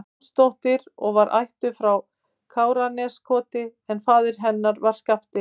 Jónsdóttir og var ættuð frá Káraneskoti en faðir hennar var Skafti